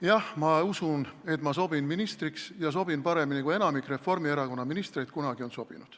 Jah, ma usun, et ma sobin ministriks, ja sobin paremini, kui enamik Reformierakonna ministreid kunagi on sobinud.